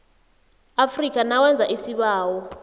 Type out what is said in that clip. afrika nawenza isibawo